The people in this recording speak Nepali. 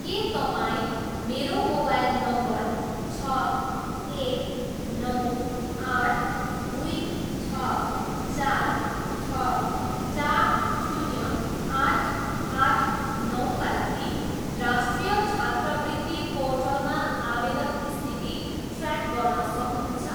के तपाईँ मेरो मोबाइल नम्बर छ, एक, नौ, आठ, दुई, छ, चार, छ, चार, शून्य, आठ, आठ, नौका लागि राष्ट्रिय छात्रवृत्ति पोर्टलमा आवेदन स्थिति ट्र्याक गर्न सक्नुहुन्छ?